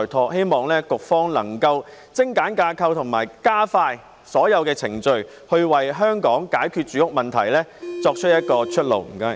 我希望局方能夠精簡架構及加快所有程序，為解決香港住屋問題找到一條出路。